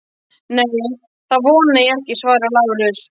Nei, það vona ég ekki, svaraði Lárus.